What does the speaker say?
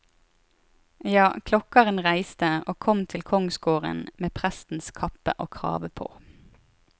Ja, klokkeren reiste, og kom til kongsgården med prestens kappe og krave på.